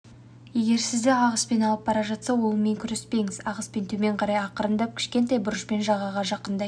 егер сізді ағыспен алып бара жатса олмен күреспеңіз ағыспен төмен қарай ақырындап кішкентай бұрышпен жағаға жақындай